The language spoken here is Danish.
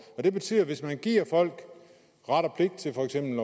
det betyder at hvis man giver folk ret og pligt til for eksempel